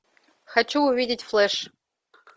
хочу увидеть флэш